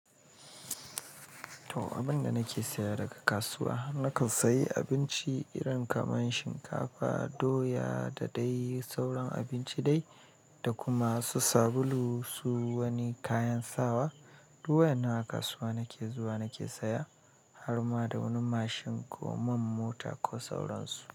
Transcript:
To, abin da nake saya daga kasuwa, na kan sayi abinci irin kaman shinkafa, doya da dai sauran abinci dai, da kuma su sabulu su wani kayan sawa. Du waennan a kasuwa nake zuwa nake saya har ma da wani mashin ko man mota ko sauransu.